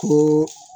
Ko